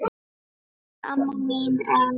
Elsku amma mín Em.